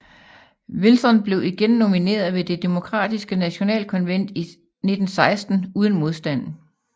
Wilson blev igen nomineret ved det demokratiske national konvent i 1916 uden modstand